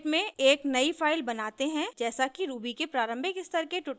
gedit में एक नयी फाइल बनाते हैं जैसा कि ruby के प्रारंभिक स्तर के ट्यूटोरियल्स में दर्शाया है